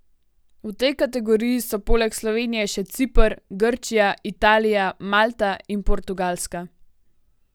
V tej kategoriji so poleg Slovenije še Ciper, Grčija, Italija, Malta in Portugalska.